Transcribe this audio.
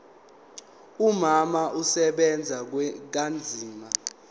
umama usebenza kanzima